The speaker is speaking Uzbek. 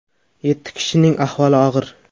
Yetti kishining ahvoli og‘ir.